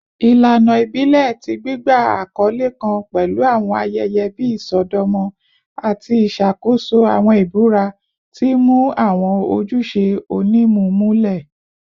Ilana ibile ti gbigba akọle kan pẹlu awọn ayẹyẹ bii isọdọmọ ati iṣakoso awọn ibura, ti n mu awọn ojuṣe onimu mulẹ.